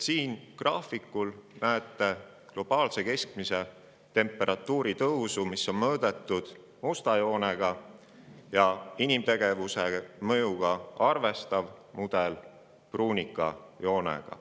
Siin graafikul näete mõõdetud globaalse keskmise temperatuuri tõusu musta joonena ja inimtegevuse mõjuga arvestav mudel on toodud pruunika joonega.